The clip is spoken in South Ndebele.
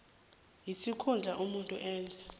isikhundla umuntu enza